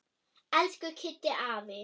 Elsku Kiddi afi.